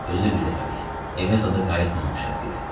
Özü də birdəfəlik, evə zada qayıtmamaq şərtilə.